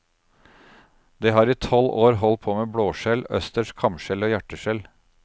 Det har i tolv år holdt på med blåskjell, østers, kamskjell og hjerteskjell.